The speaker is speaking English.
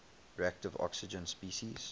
reactive oxygen species